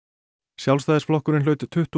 Sjálfstæðisflokkurinn hlaut tuttugu